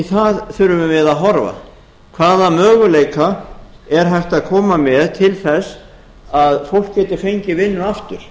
það þurfum við að horfa hvaða möguleika er hægt að koma með til þess að fólk geti fengið vinnu aftur